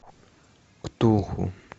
ктулху